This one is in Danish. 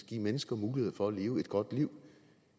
give mennesker muligheder for at leve et godt liv